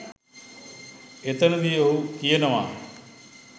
එතනදි ඔහු කියනවා